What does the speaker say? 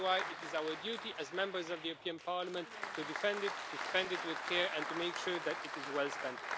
This is why it is our duty, as Members of the European Parliament, to defend it, to spend it with care, and to make sure that it is well spent.